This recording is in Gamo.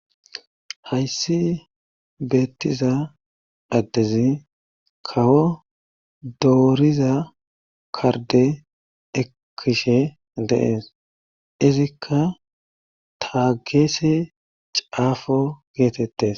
hayssi beettiza addezi kawo dooriza karde ekishe deees izikka taageese caafo geetettes